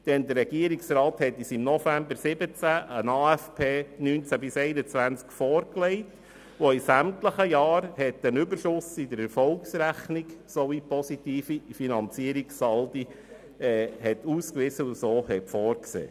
Der Regierungsrat legte uns im November 2017 einen Aufgaben- und Finanzplan (AFP) 2019–2021 vor, der in sämtlichen Jahren einen Überschuss in der Erfolgsrechnung sowie positive Finanzierungssaldi auswies und vorsah.